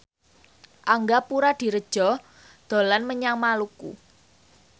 Angga Puradiredja dolan menyang Maluku